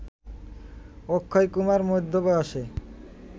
অক্ষয়কুমার মধ্য বয়সে